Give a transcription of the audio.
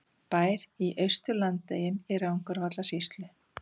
Bær í Austur-Landeyjum í Rangárvallasýslu.